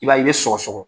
I b'a ye i bɛ sɔgɔsɔgɔ